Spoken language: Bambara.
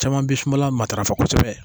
Caman bɛ sumala matarafa kosɛbɛ